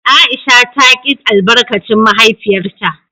Aisha ta ki albarkacin mahaifiyarta.